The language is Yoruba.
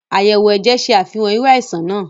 Ayẹwo ẹjẹ ṣe Àfihàn iru àìsàn nàá